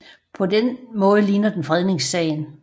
På den måde ligner den fredningssagen